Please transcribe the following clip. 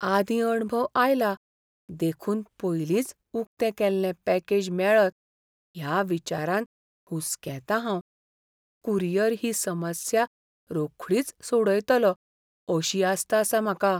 आदीं अणभव आयला देखून पयलींच उकतें केल्लें पॅकेज मेळत ह्या विचारान हुसकेतां हांव. कुरियर ही समस्या रोखडीच सोडयतलो अशी आस्त आसा म्हाका.